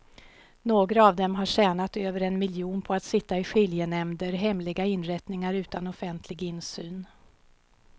Några av dem har tjänat över en miljon på att sitta i skiljenämnder, hemliga inrättningar utan offentlig insyn.